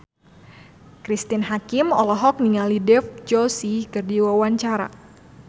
Cristine Hakim olohok ningali Dev Joshi keur diwawancara